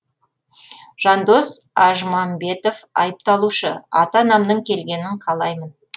жандос ажмамбетов айыпталушы ата анамның келгенін қалаймын